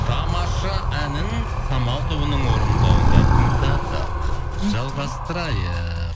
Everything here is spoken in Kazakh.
тамаша әнін самал тобының орындауында тыңдадық жалғастырайық